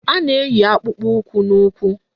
A na-eyi akpụkpọụkwụ n'ụkwụ